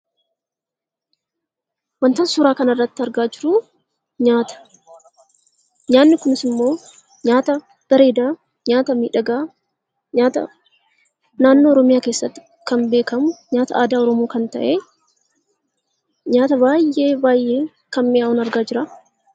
Waantonni suuraa kana irratti argaa jirru, nyaata. Nyaanni Kunis immoo nyaata bareeda, nyaata miidhagaa, nyaata naannoo Oromiyaa keessatti kan beekamu, nyaata aadaa Oromoo kan ta'e nyaata baayyee baayyee mi'aawun argaa jira.